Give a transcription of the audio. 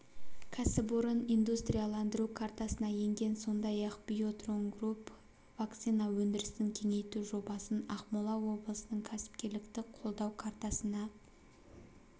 кәсіпорын индустрияландыру картасына енген сондай-ақ биотронгрупп вакцина өндірісін кеңейту жобасын ақмола облысының кәсіпкерлікті қолдау картасына